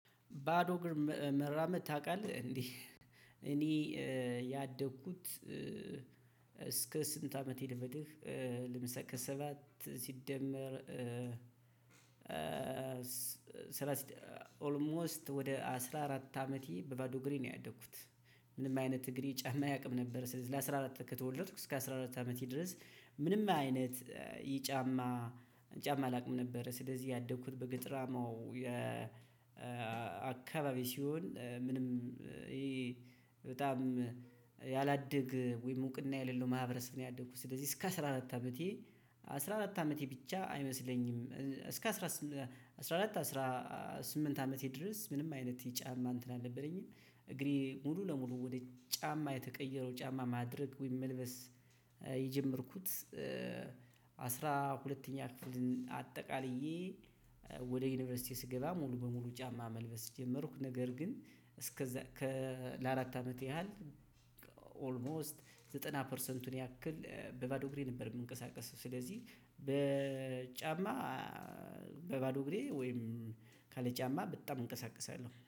"ባዶ እግር መራመድ ታውቃለህ?" እንዴ እኔ ያደግኩት እስከ ስንት አመቴ ልበልህ ለምሳሌ ከሰባት ሲደመር ስራ ኦልሞስት ወደ አስራ አራት አመቴ በባዶ እግሬ ነው ያደኩት። ምንም አይነት እግሬ ጫማ አያውቅም ነበር ስለዚህ ለአስራ አራት ከተወለድኩ እስከ አስራ አራት አመቴ ድረስ ምንም አይነት ይህ ጫማ ጫማ አላቅም ነበረ። ስለዚህ ያደኩት በገጠራማው የ አካባቢ ሲሆን ምንም ይሄ በጣም ያላደገ ወይም እውቅና የሌለው ማህበረሰብ ነው ያደኩት ስለዚህ እስከ አስራ አራት አመቴ፣ አስራ አራት አመቴ ብቻ አይመስለኝም እስከ አስራ ስም አስራ አራት አስራ ስምንት አመቴ ድረስ ምንም አይነት ይሄ ጫማ እንትን አልነበረኝም። እግሬ ሙሉ ለሙሉ ወደ ጫማ የተቀየረው ጫማ ማድረግ ወይም መልበስ የጀመርኩት አስራ ሁለተኛ ክፍልን አጠቃልዬ ወደ ዩኒቨርሲቲ ስገባ ሙሉ በሙሉ ጫማ መልበስ ጀመርኩ፤ ነገር ግን እስከዛ ከ ለአራት አመት ያህል ኦልሞስት ዘጠና ፐርሰንቱን ያክል በባዶ እግሬ ነበር የምንቀሳቀሰው። ስለዚህ በጫማ በባዶ እግሬ ወይም ካለጫማ በጣም እንቀሳቀሳለሁ።